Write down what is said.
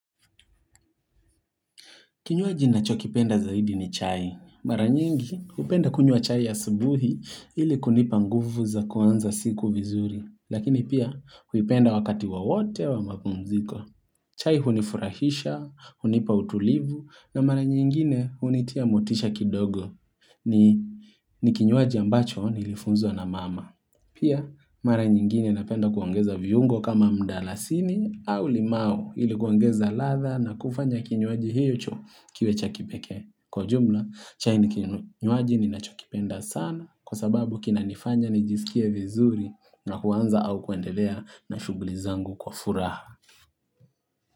Kinywaji ninacho kipenda zaidi ni chai. Mara nyingi hupenda kunywa chai asubuhi ili kunipa nguvu za kuanza siku vizuri. Lakini pia huipenda wakati wowote wa mapumziko. Chai hunifurahisha, hunipa utulivu na mara nyingine hunitia motisha kidogo ni ni kinywaji ambacho nilifunzwa na mama. Pia, mara nyingine napenda kuongeza vyungo kama mdalasini au limau ili kuongeza ladha na kufanya kinywaji hicho kiwe cha kipekee. Kwa jumla, chai ni kinywaji ninachokipenda sana kwa sababu kinanifanya nijisikie vizuri na kuanza au kuendelea na shughuli zangu kwa furaha.